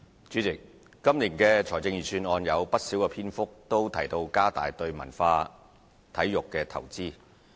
主席，今年的財政預算案有不少篇幅提到加大對文化體育的投資。